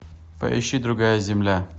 поищи другая земля